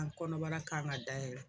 An kɔnɔbara kan ka dayɛlɛ